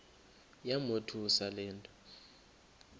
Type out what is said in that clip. yamothusa le nto